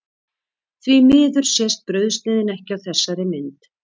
Því miður sést brauðsneiðin ekki á þessari mynd.